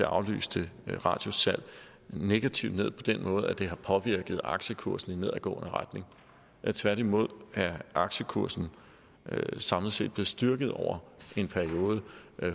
aflyste radiussalg negativt ned på den måde at det har påvirket aktiekursen i nedadgående retning tværtimod er aktiekursen samlet set styrket over en periode